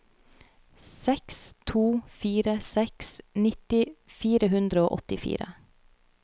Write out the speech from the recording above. seks to fire seks nitti fire hundre og åttifire